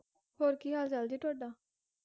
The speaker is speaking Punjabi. ਹੋਰ ਕੀ ਹਾਲ ਚਾਲ ਜੀ ਤੁਹਾਡਾ?